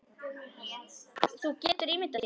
Þú getur ímyndað þér.